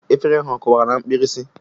Efere ha ọ kụwara na mkpirisi?